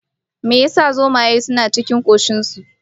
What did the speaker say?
me ya sa zomaye suna cin kashin su?